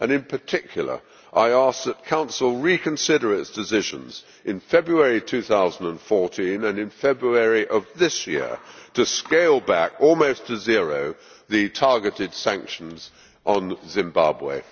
In particular, I ask that the Council reconsider its decisions of February 2014 and of February this year to scale back almost to zero the targeted sanctions on Zimbabwe.